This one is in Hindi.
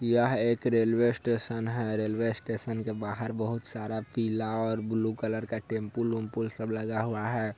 यह एक रेलवे स्टेशन है| रेलवे स्टेशन के बाहर सारा पीला और ब्लू कलर का टेंपो ओमपुल सब लगा हुआ है ।